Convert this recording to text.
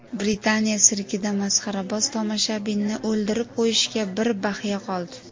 Britaniya sirkida masxaraboz tomoshabinni o‘ldirib qo‘yishiga bir baxya qoldi .